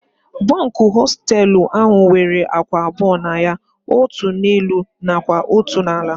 Bunkụ hostelụ ahụ nwere ákwà abụọ na ya. Otú n'elu nakwa otu n'ala